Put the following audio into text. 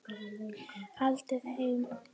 Haldið heim